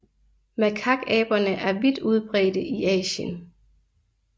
Makakaberne er vidt udbredte i Asien